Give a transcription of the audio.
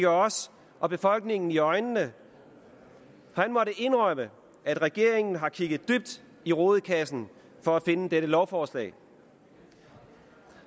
os og befolkningen i øjnene han måtte indrømme at regeringen har kigget dybt i rodekassen for at finde dette lovforslag